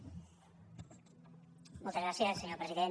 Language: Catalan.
moltes gràcies senyor president